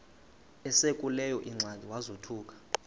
esekuleyo ingxaki wazothuka